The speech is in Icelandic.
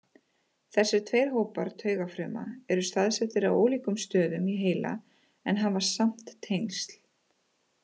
Þessir tveir hópar taugafruma eru staðsettar á ólíkum stöðum í heila en hafa samt tengsl.